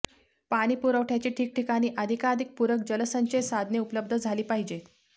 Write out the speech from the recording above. पाणीपुरवठ्यासाठी ठिकठिकाणी अधिकाधिक पूरक जलसंचय साधने उपलब्ध झाली पाहिजेत